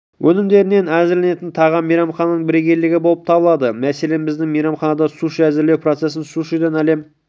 өнімдерінен әзірленетін тағам мейрамхананың бірегейлігі болып табылады мәселен біздің мейрамханада суши әзірлеу процесін сушиден әлем